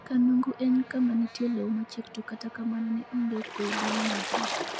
Kanungu en kama nitie lowo machiek to kata kamano ne onge kwe bang' majno.